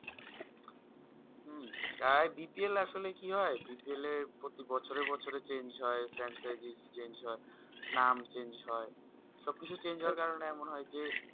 BPL আসলে কি হয় BPL এর পতি বছর বছর change হয় Franchise change হয় নাম change হয় সবকিছু change হয় কারণ এমন হয় যে